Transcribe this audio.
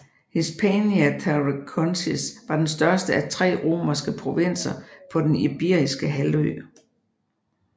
Hispania Tarraconensis var den største af tre romerske provinser på den Iberiske halvø